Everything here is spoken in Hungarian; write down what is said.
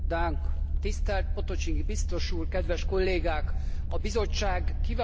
A Bizottság kiváló anyaga alapján egy nagyon jó jelentésről tárgyalunk most.